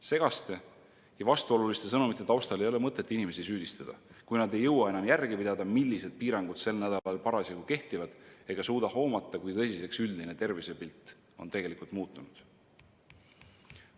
Segaste ja vastuoluliste sõnumite taustal ei ole mõtet inimesi süüdistada, kui nad ei jõua enam järge pidada, millised piirangud sel nädalal parasjagu kehtivad, ega suuda hoomata, kui tõsiseks üldine tervisepilt on tegelikult muutunud.